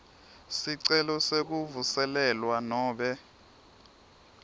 sicelo sekuvuselelwa nobe